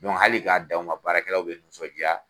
hali ka dan o ma, baarakɛlaw be nisɔndiya